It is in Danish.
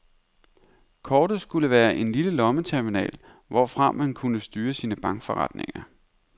Kortet skulle være en lille lommeterminal, hvorfra man kunne styre sine bankforretninger.